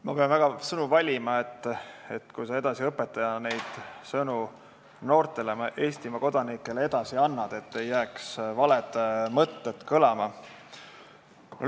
Ma pean väga sõnu valima, sest kui sa õpetajana neid sõnu noortele Eestimaa kodanikele edasi annad, siis ei tohiks jääda valed mõtted kõlama.